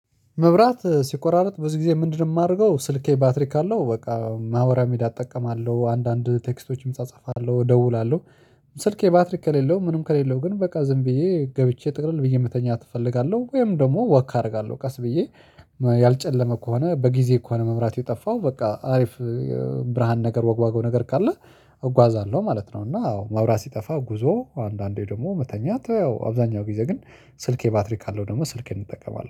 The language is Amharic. መብራት ሲቆራርጥ ብዙ ጊዜ ምንድንነው የማደርገው ስልኬ ባትሪክ ካለው በቃ ማህበራውሚዳያ እጠቀማለሁ አንዳንድ ቴክስቶችም እጻጻፋለሁ እደውላለሁ። ስልክ ባትሪ ከሌለው ምንም ከሌለው ግን በቃ ዝም ብዬ ገብቼ ጥቅልል ብዬ መተኛት እፈልጋለሁ። ወይም ደግሞ ወክ አደርጋለሁ ቀስ ብዬ ያልጨለመ ከሆነ በጊዜ ከሆነ መብራት የጠፋው በቃ አሪፍ። ብርሃን ነገር ዋግዋገው ነገር ካለ እጓዛለሁ ማለት ነው። እና አዎ መብራት ሲጠፋ ጉዞ አንዳንዴ ደግሞ መተኛት ያው አብዛኛው ጊዜ ግን ስልኬ ባትሪ ካለው ደግሞ ስልኬን እጠቀማለሁ